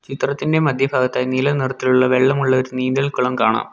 ചിത്രത്തിൻ്റെ മധ്യഫാഗത്തായി നീല നിറത്തിലുള്ള വെള്ളമുള്ള ഒരു നീന്തൽകുളം കാണാം.